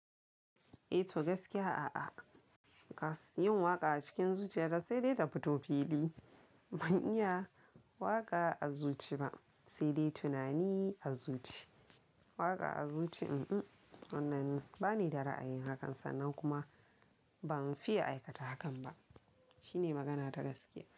Eh to gaskiya a'a. Kas yin waƙa a cikin zuciya ta, da sai dai ta fito fili. Mun iya waƙa a zuci ba, sai dai tunani a zuci. Waƙa a zuci, un-un, wannan ba ni da ra'ayin hakan, sannan kuma ban fiye aikata hakan ba. Shine magana ta gaskiya.